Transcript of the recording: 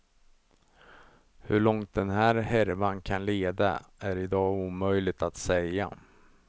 Hur långt den här härvan kan leda är i dag omöjligt att säga.